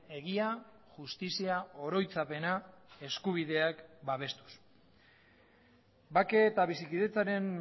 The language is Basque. egia justizia oroitzapena eskubideak babestuz bake eta bizikidetzaren